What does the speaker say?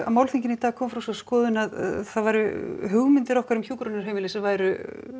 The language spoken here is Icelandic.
málþinginu í dag kom fram sú skoðun að það væru hugmyndir okkar um hjúkrunarheimili sem væru